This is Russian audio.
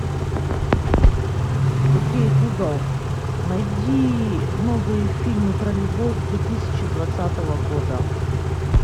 окей гугл найди новые фильмы про любовь две тысячи двадцатого года